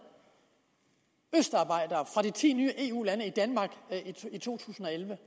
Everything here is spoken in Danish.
østarbejdere fra de ti nye eu lande i danmark i to tusind og elleve